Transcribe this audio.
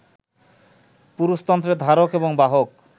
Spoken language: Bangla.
পুরুষতন্ত্রের ধারক এবং বাহক